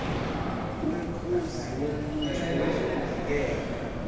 umkhuzi wombutho wezokuvikela